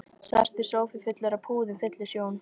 Svartur sófi fullur af púðum fyllir sjón